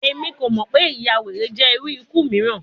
Emi ko mọ pe iyawere jẹ iru iku miiran